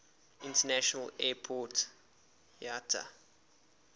international airport iata